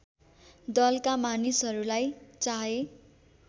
दलका मानिसहरूलाई चाहे